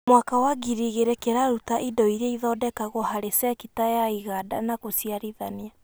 mwaka wa ngiri igĩrĩ kĩraruta indo iria ithondekagwo harĩ cekita ya iganda na gũciarithia